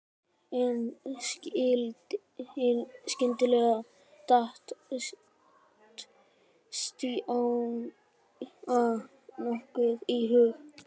En skyndilega datt Stjána nokkuð í hug.